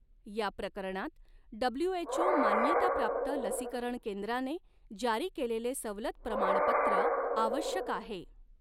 या प्रकरणात, डब्ल्यूएचओ मान्यताप्राप्त लसीकरण केंद्राने जारी केलेले सवलत प्रमाणपत्र आवश्यक आहे.